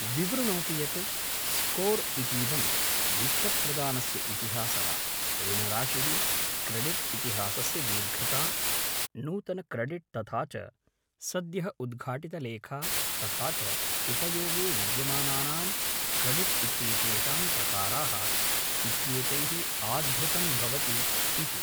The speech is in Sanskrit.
विवृणोतु यत्, स्कोर् इतीदं वित्तप्रदानस्य इतिहासः, ऋणराशिः, क्रेडिट् इतिहासस्य दीर्घता, नूतनक्रेडिट् तथा च सद्यः उद्घाटितलेखा तथा च उपयोगे विद्यमानानां क्रेडिट् इत्येतेषां प्रकाराः इत्येतैः आधृतं भवति, इति।